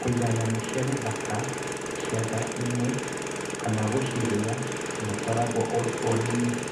Kũiga nyamũ cia gĩthaka ciaga-inĩ kana gũcirĩa dũtaragwo ũrĩ ũrĩmi